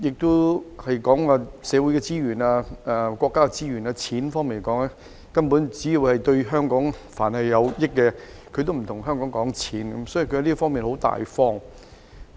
在社會資源、國家資源及金錢方面，但凡是對香港有益，內地都不會跟香港計較，是相當大方的。